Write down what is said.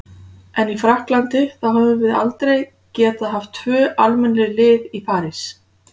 En í Frakklandi, þá höfum við aldrei getað haft tvö almennileg lið í París.